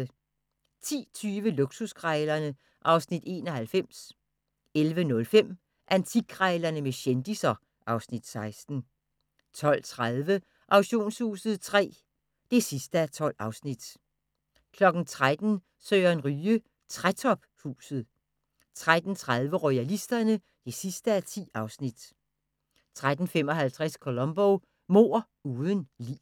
(37:237) 10:20: Luksuskrejlerne (Afs. 91) 11:05: Antikkrejlerne med kendisser (Afs. 16) 12:30: Auktionshuset III (12:12) 13:00: Søren Ryge: Trætophuset 13:30: Royalisterne (10:10) 13:55: Columbo: Mord uden lig